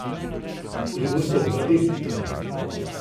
Ali bosta dva direktorja?